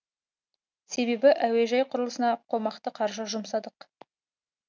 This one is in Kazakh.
себебі әуежай құрылысына қомақты қаржы жұмсадық